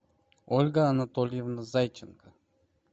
ольга анатольевна зайченко